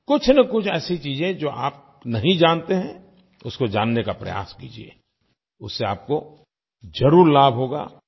कुछनकुछ ऐसी चीज़ें जो आप नहीं जानते हैं उसको जानने का प्रयास कीजिये उससे आपको ज़रूर लाभ होगा